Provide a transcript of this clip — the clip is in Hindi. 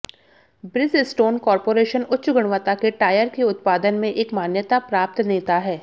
ब्रिजस्टोन कॉर्पोरेशन उच्च गुणवत्ता के टायर के उत्पादन में एक मान्यता प्राप्त नेता है